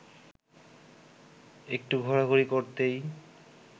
একটু ঘোরাঘুরি করতেই